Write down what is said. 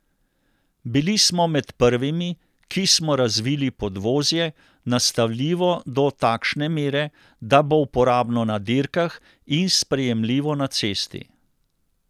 Bili smo med prvimi, ki smo razvili podvozje, nastavljivo do takšne mere, da bo uporabno na dirkah in sprejemljivo na cesti.